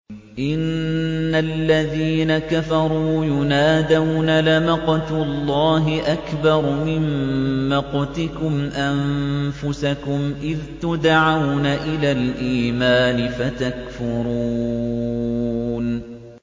إِنَّ الَّذِينَ كَفَرُوا يُنَادَوْنَ لَمَقْتُ اللَّهِ أَكْبَرُ مِن مَّقْتِكُمْ أَنفُسَكُمْ إِذْ تُدْعَوْنَ إِلَى الْإِيمَانِ فَتَكْفُرُونَ